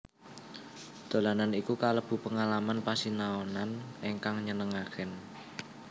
Dolanan iku kalebu pengalaman pasinaonan ingkang nyenengaken